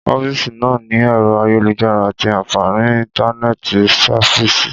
Ọfisi náà ní ẹrọ ayélujára ati àǹfàní íntánẹ̀tì sáfíìsì